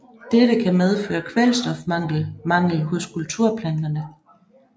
Dette kan medføre kvælstofmangel hos kulturplanterne